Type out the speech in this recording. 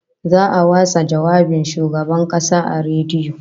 Za'a watsa jawabin Shugaban Kasa a rediyo